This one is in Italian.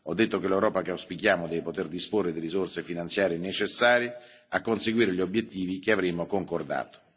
Ho detto che l'Europa che auspichiamo deve poter disporre delle risorse finanziarie necessarie a conseguire gli obiettivi che avremo concordato.